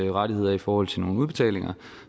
rettigheder i forhold til nogle udbetalinger